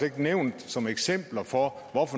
ikke nævnt som eksempel hvad for